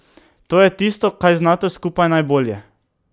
To je tisto, kar znata skupaj najbolje.